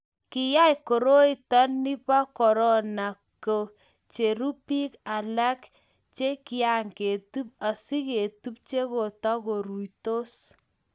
Kiyai koroito nito bo korona ke cheru biik alak che kiaketub asiketub che katukusirtos